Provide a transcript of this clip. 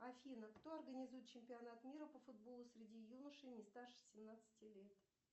афина кто организует чемпионат мира по футболу среди юношей не старше семнадцати лет